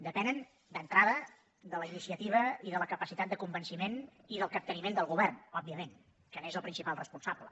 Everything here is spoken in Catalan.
depenen d’entrada de la iniciativa i de la capacitat de convenciment i del capteniment del govern òbviament que n’és el principal responsable